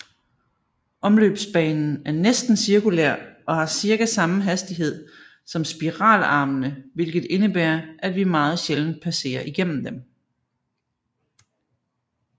Omløbsbanen er næsten cirkulær og har cirka samme hastighed som spiralarmene hvilket indebærer at vi meget sjældent passerer igennem dem